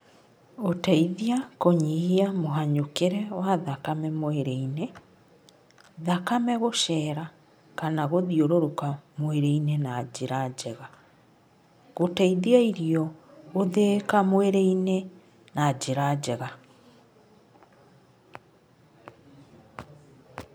Gũteithia kũnyihia mũhanyũkĩre wa thakame mwĩrĩ-inĩ, thakame gũcera kana gũthiũrũrũka mwĩrĩ-inĩ na njĩra njega, gũteithia irio gũthĩĩka mwĩrĩ-inĩ na njĩra njega.